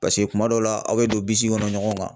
Paseke kuma dɔw la aw be don bisi kɔnɔ ɲɔgɔn ma